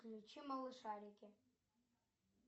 включи малышарики